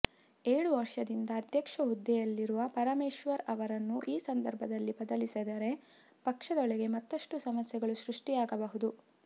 ಏಳು ವರ್ಷದಿಂದ ಅಧ್ಯಕ್ಷ ಹುದ್ದೆಯಲ್ಲಿರುವ ಪರಮೇಶ್ವರ್ ಅವರನ್ನು ಈ ಸಂದರ್ಭದಲ್ಲಿ ಬದಲಿಸಿದರೆ ಪಕ್ಷದೊಳಗೆ ಮತ್ತಷ್ಟು ಸಮಸ್ಯೆಗಳು ಸೃಷ್ಟಿಯಾಗಬಹುದು